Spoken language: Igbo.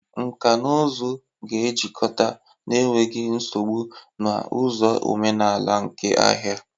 Nkà na ụzụ ga-ejikọta n'enweghị nsogbu na ụzọ omenala nke ahịa.